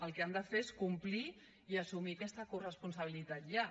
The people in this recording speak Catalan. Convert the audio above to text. el que han de fer és complir i assumir aquesta corresponsabilitat ja